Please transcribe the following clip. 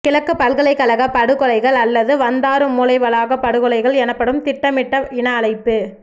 கிழக்குப் பல்கலைக்கழகப் படுகொலைகள் அல்லது வந்தாறுமூலை வளாகப் படுகொலைகள் எனப்படும் திட்டமிட்ட இன அழிப்பு